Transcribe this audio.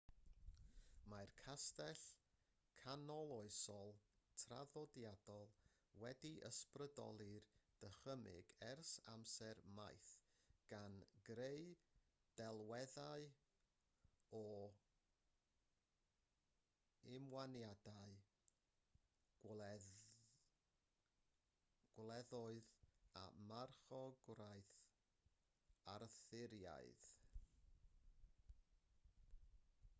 mae'r castell canoloesol traddodiadol wedi ysbrydoli'r dychymyg ers amser maith gan greu delweddau o ymwaniadau gwleddoedd a marchogwraeth arthuraidd